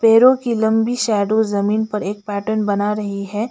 पेड़ों की लंबी शैडो जमीन पर एक पैटर्न बना रही है।